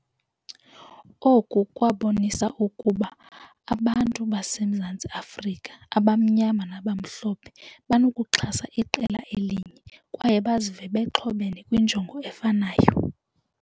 Oku kwabonisa ukuba abantu baseMzantsi Afrika abamnyama nabamhlophe banokuxhasa iqela elinye, kwaye bazive bexhomene kwinjongo efanayo.